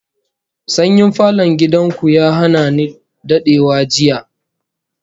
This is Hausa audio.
Sanyin falon gidan ku ya hana ni dadewa jiya